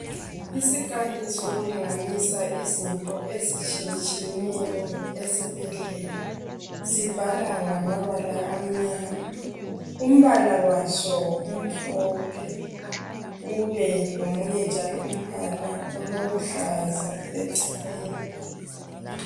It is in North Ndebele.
Isikali sokulinganisa izinto ezitshiyetshiyeneyo esibhedlela Sibhala ngamabala amnyama. Umbala waso umhlophe. Ubelomunye njalo umbala olokuhlaza eceleni.